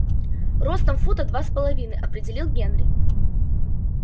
ростом фута два с половиной определил генри